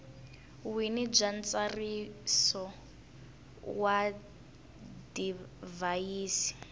wini bya ntsariso wa divhayisi